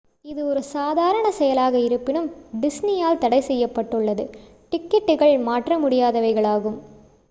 இது ஒரு சாதாரண செயலாக இருப்பினும் disney ஆல் தடைசெய்யப்பட்டுள்ளது டிக்கெட்டுகள் மாற்ற முடியாதவைகளாகும்